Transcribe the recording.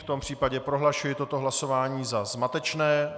V tom případě prohlašuji toto hlasování za zmatečné.